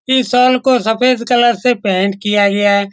इस हॉल को सफ़ेद कलर से पेंट किया गया है।